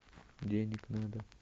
денег надо